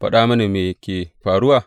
Faɗa mini, me ke faruwa?